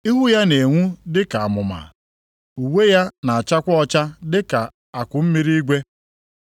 Ihu ya na-enwu dị ka amụma. Uwe ya na-achakwa ọcha dị ka akụmmiri igwe. + 28:3 Ya bụ, snoo